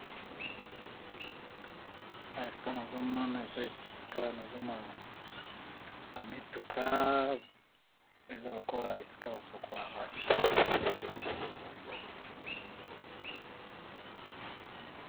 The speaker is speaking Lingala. Awa esika nazomona eza esika nazomona ba mituka eza lokola esika ba sokola ba mituka.